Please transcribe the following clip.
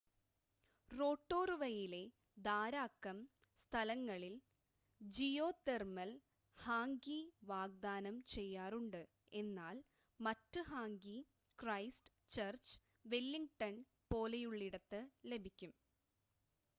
റൊട്ടോറുവയിലെ ധാരാക്കം സ്ഥലങ്ങളിൽ geothermal hangi വാഗ്ദാനം ചെയ്യാറുണ്ട് എന്നാൽ മറ്റ് ഹാംഗി ക്രൈസ്റ്റ് ചർച്ച് വെല്ലിംഗ്ടൺ പോലെയുള്ളയിടത്ത് ലഭിക്കും